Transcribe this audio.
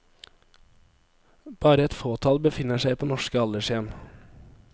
Bare et fåtall befinner seg på norske aldershjem.